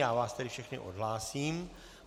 Já vás tedy všechny odhlásím.